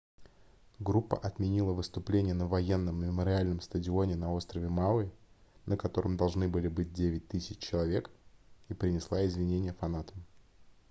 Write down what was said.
группа отменила выступление на военном мемориальном стадионе на острове мауи на котором должны были быть 9 000 человек и принесла извинения фанатам